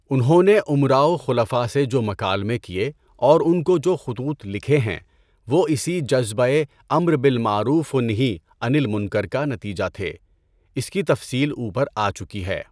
انہوں نے امراء و خلفاء سے جو مکالمے کیے اور اُن کو جو خطوط لکھے ہیں وہ اسی جذبۂ امر بالمعروف ونہی عن المنکر کا نتیجہ تھے، اس کی تفصیل اُوپر آچکی ہے۔